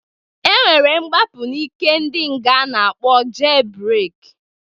E nwere mgbapụ n'ike ndị nga a na-akpọ jel breki.